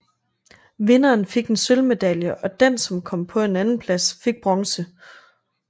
Vinderen fik en sølvmedalje og den som kom på en andenplads fik bronze